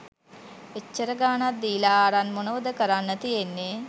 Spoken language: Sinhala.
එච්චර ගාණක් දීලා අරන් මොනවද කරන්න තියෙන්නේ